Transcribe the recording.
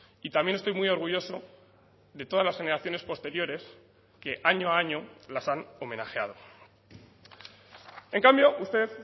y también estoy muy orgulloso de todas las generaciones posteriores que año a año las han homenajeado en cambio usted